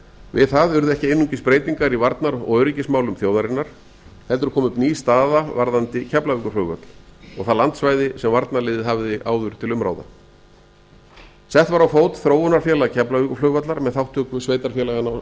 við það urðu ekki einungis breytingar í varnar og öryggismálum þjóaðrinanr heldur kom upp ný staða varðandi keflavíkurflugvöll og það landsvæði sem varnarliðið hafði áður til umráða sett var á fót þróunarfélag keflavíkurflugvallar með þátttöku sveitarfélaganna